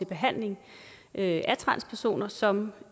behandling af transpersoner som